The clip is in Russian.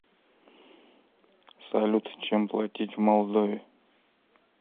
салют чем платить в молдове